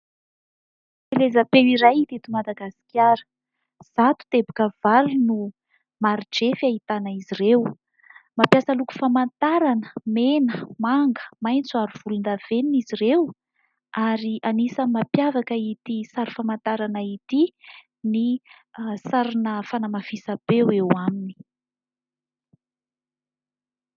Fampielezam-peo iray teto Madagasikara. Zato teboka valo no mari-drefy ahitana izy ireo. Mampiasa loko famantarana mena, manga, maitso ary volondavenina izy ireo ary anisan'ny mampiavaka ity sary famantarana ity ny sarina fanamafisam-peo eo aminy.